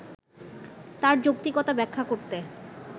তার যৌক্তিকতা ব্যাখ্যা করতে